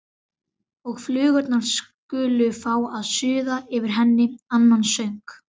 Og flugurnar skulu fá að suða yfir henni annan söng.